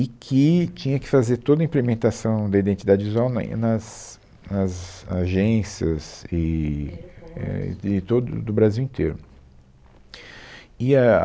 e que tinha que fazer toda a implementação da identidade visual na em, nas nas agências eee, é todo do Brasil inteiro. E a